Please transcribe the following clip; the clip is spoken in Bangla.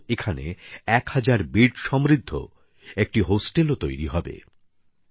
এছাড়াও এখানে ১০০০ শয্যার একটি হোস্টেলও তৈরি হবে